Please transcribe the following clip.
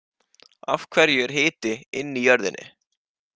Af hverju er hiti inn í jörðinni?